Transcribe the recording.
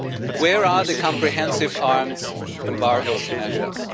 Where are the comprehensive arms embargo measures?